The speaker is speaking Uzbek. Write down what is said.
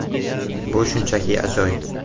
Bu shunchaki ajoyib.